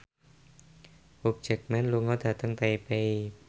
Hugh Jackman lunga dhateng Taipei